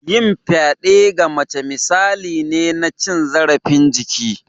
Yin fyade ga mata misali ne na cin zarafin jiki